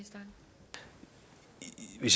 vi